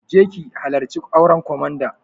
Je ki halarci auren komanda!